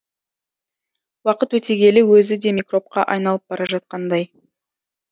уақыт өте келе өзі де микробқа айналып бара жатқандай